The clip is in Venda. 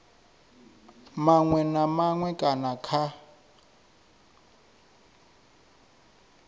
maṅwe na maṅwe kana kha